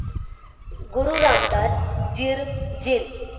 गुरु रामदास जिर जिंद